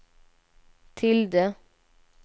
tilde